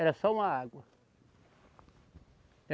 Era só uma água.